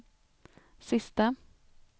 sista